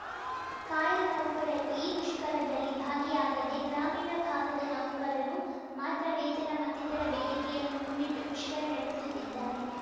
ಕಾಯಂ ನೌಕರರು ಈ ಮುಷ್ಕರದಲ್ಲಿ ಭಾಗಿಯಾಗದೇ ಗ್ರಾಮೀಣ ಭಾಗದ ನೌಕಕರು ಮಾತ್ರ ವೇತನ ಮತ್ತಿತರ ಬೇಡಿಕೆಯನ್ನು ಮುಂದಿಟ್ಟು ಮುಷ್ಕರ ನಡೆಸುತ್ತಿದ್ದಾರೆ